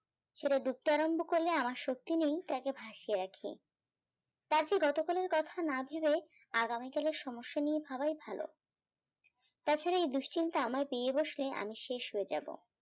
সেটা ডুবতে আরম্ভ করলে আমার শক্তি নেই তাকে ভাসিয়ে রাখি তার যে গত কুলের কথা না ভেবে আগামী কালের সমস্যা নিয়ে ভাবাই ভালো